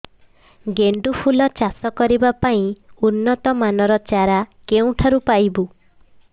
ଗେଣ୍ଡୁ ଫୁଲ ଚାଷ କରିବା ପାଇଁ ଉନ୍ନତ ମାନର ଚାରା କେଉଁଠାରୁ ପାଇବୁ